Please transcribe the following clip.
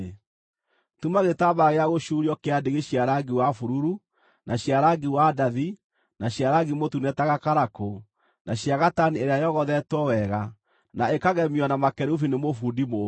“Tuma gĩtambaya gĩa gũcuurio kĩa ndigi cia rangi wa bururu, na cia rangi wa ndathi na cia rangi mũtune ta gakarakũ, na cia gatani ĩrĩa yogothetwo wega na ĩkagemio na makerubi nĩ mũbundi mũũgĩ.